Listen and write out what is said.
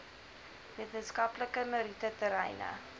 wetenskaplike meriete terreine